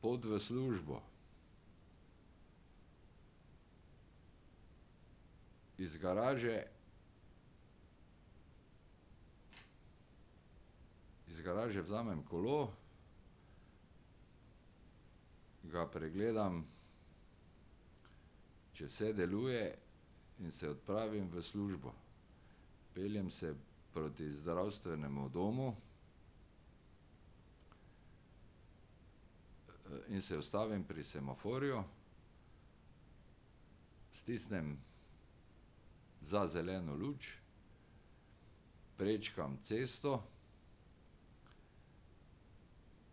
Pot v službo. Iz garaže, iz garaže vzamem kolo, ga pregledam, če vse deluje, in se odpravim v službo. Peljem se proti zdravstvenemu domu in se ustavim pri semaforju. Stisnem za zeleno luč, prečkam cesto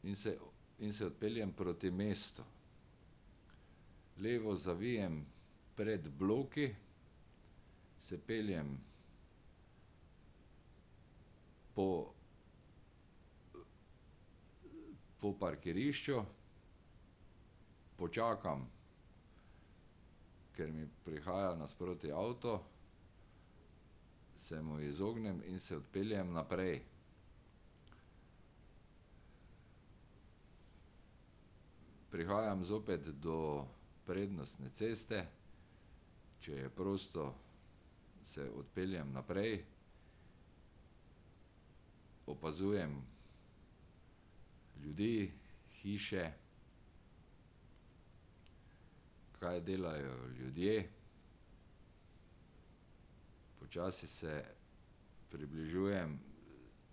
in se in se odpeljem proti mestu. Levo zavijem pred bloki, se peljem po po parkirišču. Počakam, ker mi prihaja nasproti avto, se mu izognem in se odpeljem naprej. Prihajam zopet do prednostne ceste, če je prosto, se odpeljem naprej. Opazujem ljudi, hiše, kaj delajo ljudje. Počasi se približujem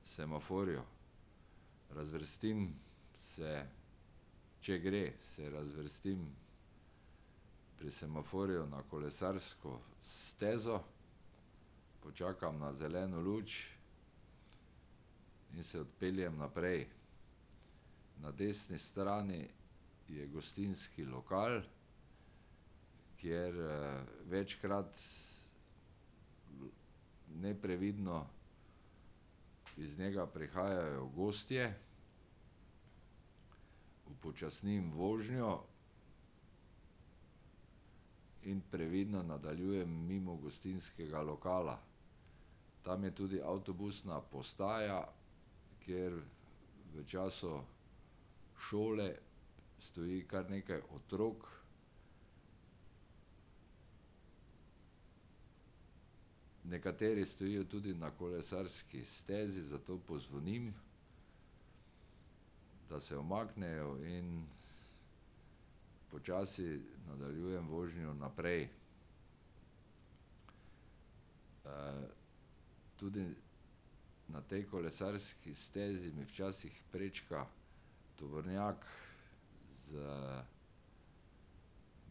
semaforju. Razvrstim se, če gre, se razvrstim pri semaforju na kolesarsko stezo, počakam na zeleno luč in se odpeljem naprej. Na desni strani je gostinski lokal, kjer večkrat neprevidno iz njega prihajajo gostje. Upočasnim vožnjo in previdno nadaljujem mimo gostinskega lokala. Tam je tudi avtobusna postaja, kjer v času šole stoji kar nekaj otrok. Nekateri stojijo tudi na kolesarski stezi, zato pozvonim, da se umaknejo in počasi nadaljujem vožnjo naprej. tudi na tej kolesarski stezi mi včasih prečka tovornjak, z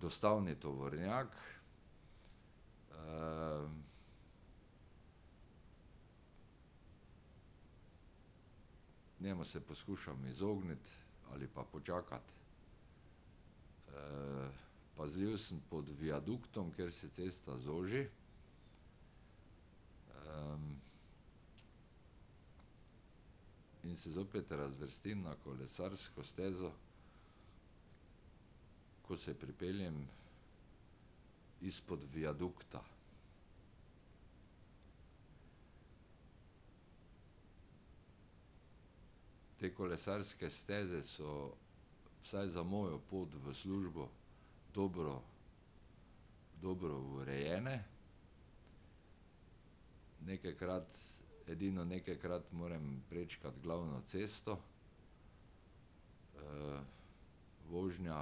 dostavni tovornjak. Njemu se poskušam izogniti ali pa počakati. Pazljiv sem pod viaduktom, kjer se cesta zoži, in se zopet razvrstim na kolesarsko stezo, ko se pripeljem izpod viadukta. Te kolesarske steze so, vsaj za mojo pot v službo, dobro, dobro urejene. Nekajkrat, edino nekajkrat moram prečkati glavno cesto. Vožnja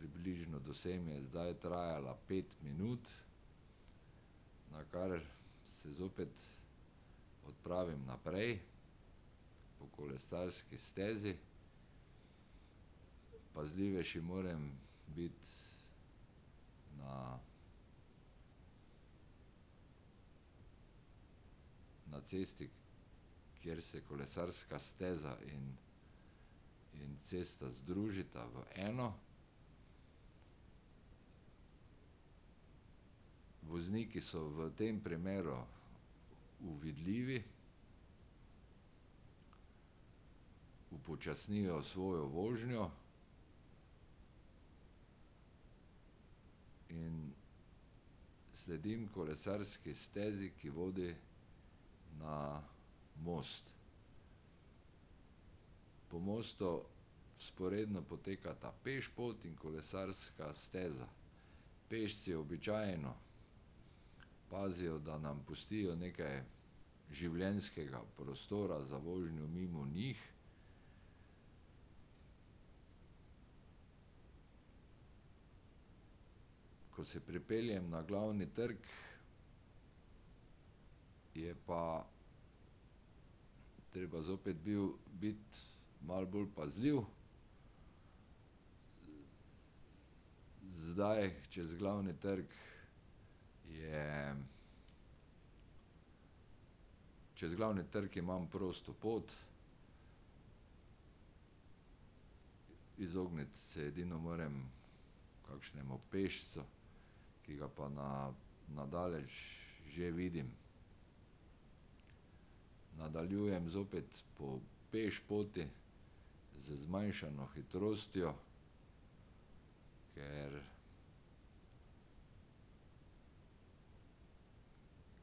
približno do sem je zdaj trajala pet minut, na kar se zopet odpravim naprej po kolesarski stezi. Pazljivejši moram biti na na cesti, kjer se kolesarska steza in in cesta združita v eno. Vozniki so v tem primeru uvidljivi, upočasnijo svojo vožnjo, in sledim kolesarski stezi, ki vodi na most. Po mostu vzporedno potekata pešpot in kolesarska steza. Pešci običajno pazijo, da nam pustijo nekaj življenjskega prostora za vožnjo mimo njih. Ko se pripeljem na Glavni trg, je pa treba zopet bil, biti malo bolj pazljiv. Zdaj čez Glavni trg je ... Čez Glavni trg imam prosto pot, izogniti se edino moram kakšnemu pešcu, ki ga pa na na daleč že vidim. Nadaljujem zopet po pešpoti z zmanjšano hitrostjo, ker,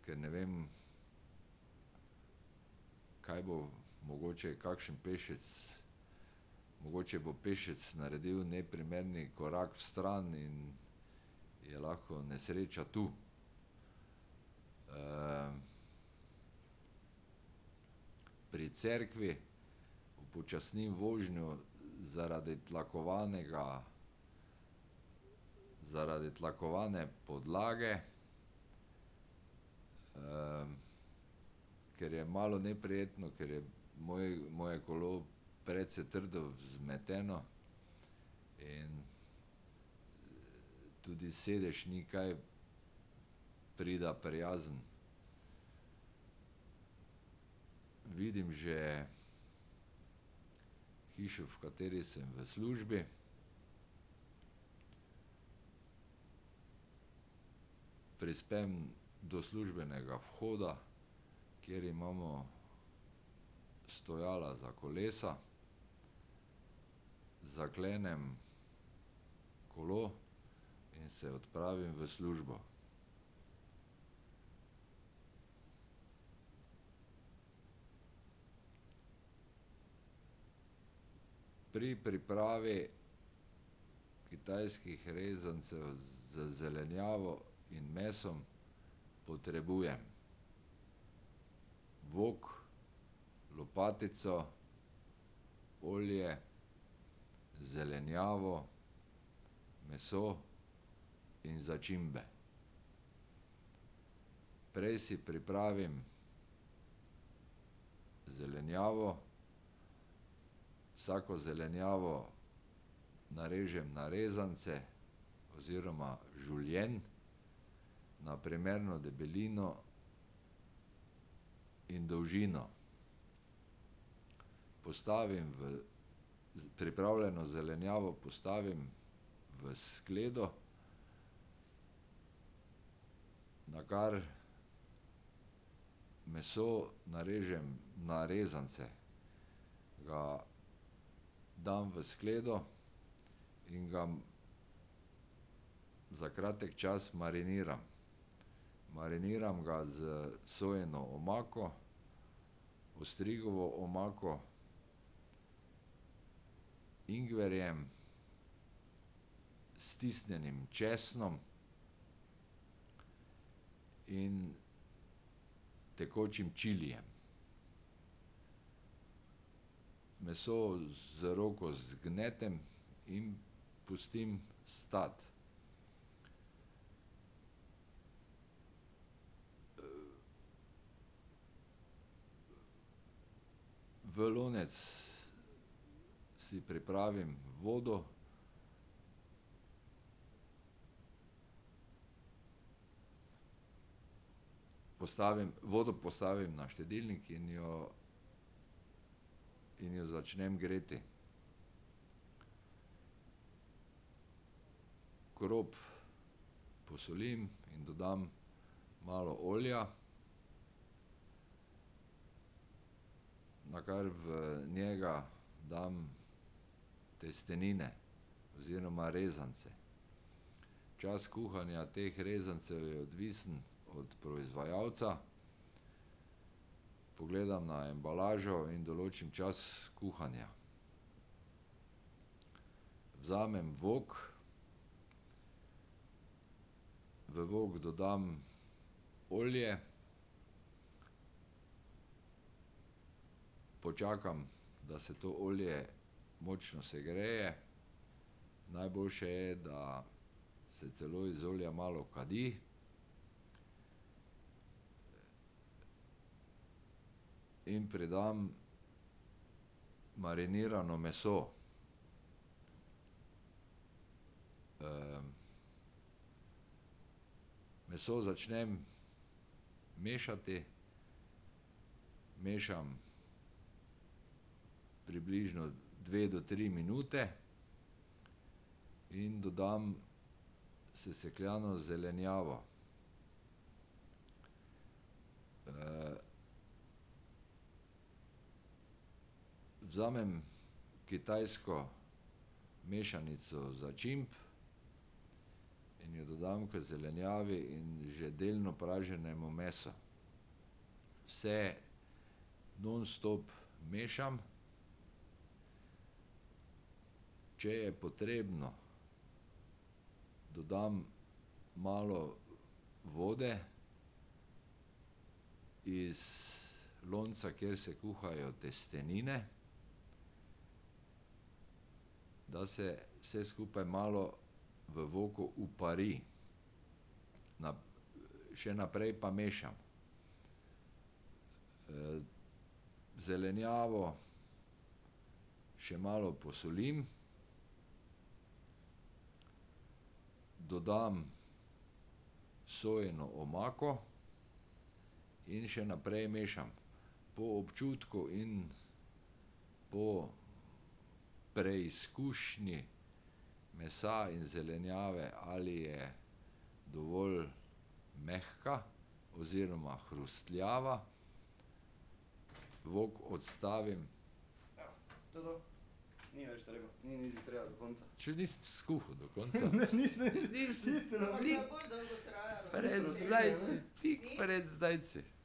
ker ne vem, kaj bo, mogoče kakšen pešec, mogoče bo pešec naredil neprimerni korak vstran in je lahko nesreča tu. Pri cerkvi upočasnim vožnjo zaradi tlakovanega, zaradi tlakovane podlage. Ker je malo neprijetno, ker je moje kolo precej trdo vzmeteno in tudi sedež ni kaj spredaj prijazen. Vidim že hišo, v kateri sem v službi. Prispem do službenega vhoda, kjer imamo stojala za kolesa. Zaklenem kolo in se odpravim v službo. Pri pripravi kitajskih rezancev z zelenjavo in mesom potrebujem: vok, lopatico, olje, zelenjavo, meso in začimbe. Prej si pripravim zelenjavo. Vsako zelenjavo narežem na rezance oziroma žulijen, na primerno debelino in dolžino. Postavim v, pripravljeno zelenjavo postavim v skledo. Nakar meso narežem na rezance. Ga dam v skledo in ga za kratek čas mariniram. Mariniram ga s sojino omako, ostrigovo omako, ingverjem, stisnjenim česnom in tekočim čilijem. Meso z roko zgnetem in pustim stati. V lonec si pripravim vodo, postavim, vodo postavim na štedilnik in jo in jo začnem greti. Krop posolim in dodam malo olja. Nakar v njega dam testenine oziroma rezance. Čas kuhanja teh rezancev je odvisen od proizvajalca. Pogledam na embalažo in določim čas kuhanja. Vzamem vok. V vok dodam olje, počakam, da se to olje močno segreje. Najboljše je, da se celo iz olja malo kadi. In pridam marinirano meso. Meso začnem mešati. Mešam približno dve do tri minute. In dodam sesekljano zelenjavo. Vzamem kitajsko mešanico začimb in jo dodam k zelenjavi in že delno praženemu meso. Vse nonstop mešam. Če je potrebno, dodam malo vode iz lonca, kjer se kuhajo testenine, da se vse skupaj v voku malo upari. še naprej pa mešam. Zelenjavo še malo posolim, dodam sojino omako in še naprej mešam. Po občutku in po preizkušnji mesa in zelenjave, ali je dovolj mehka oziroma hrustljava, vok odstavim ... Če nisem skuhal do konca. Tik pred zdajci. Tik pred zdajci.